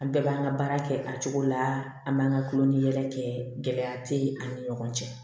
An bɛɛ b'an ka baara kɛ a cogo la an b'an ka kulon ni yɛlɛ kɛ gɛlɛya tɛ ani ɲɔgɔn cɛ